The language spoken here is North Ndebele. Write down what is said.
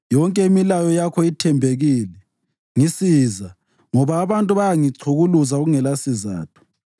Yonke imilayo yakho ithembekile, ngisiza, ngoba abantu bayangichukuluza kungelasizatho.